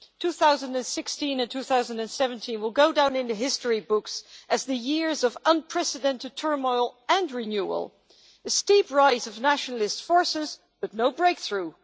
2016 and 2017 will go down in the history books as the years of unprecedented turmoil and renewal, with a steep rise of nationalist forces, but no breakthrough.